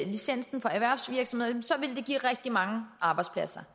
licensen for erhvervsvirksomheder vil det give rigtig mange arbejdspladser